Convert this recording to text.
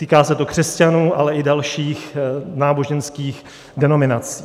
Týká se to křesťanů, ale i dalších náboženských denominací.